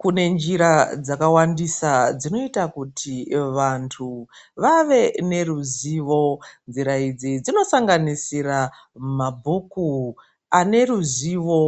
Kune njira dzakawandisa dzinoita kuti vantu vave neruzivo. Njira idzi dzinosanganisira mabhuku aneruzivo.